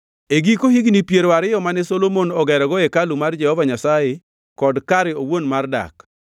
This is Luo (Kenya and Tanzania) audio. E giko higni piero ariyo mane Solomon ogerogo hekalu mar Jehova Nyasaye kod kare owuon mar dak,